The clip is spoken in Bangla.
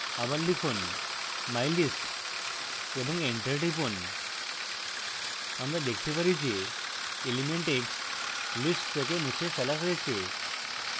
আবার লিখুন mylist এবং enter টিপুন আমরা দেখতে পারি যে element eggs list থেকে মুছে ফেলা হয়েছে